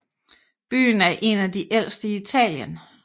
Byen er en af de ældste i Italien